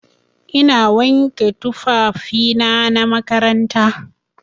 Ina wanke tufafina na makaranta.